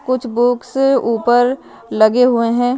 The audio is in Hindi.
कुछ बुक्स ऊपर लगे हुए हैं।